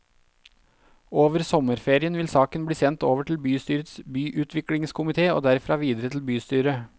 Over sommerferien vil saken bli sendt over til bystyrets byutviklingskomité og derfra videre til bystyret.